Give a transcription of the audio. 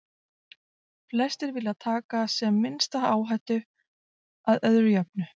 Flestir vilja taka sem minnsta áhættu, að öðru jöfnu.